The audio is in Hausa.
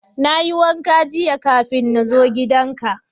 Na yi wanka jiya kafin na zo gidan ka.